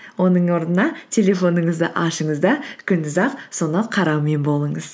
оның орнына телефоныңызды ашыңыз да күндіз ақ соны қараумен болыңыз